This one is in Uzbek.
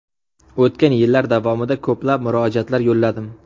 O‘tgan yillar davomida ko‘plab murojaatlar yo‘lladim.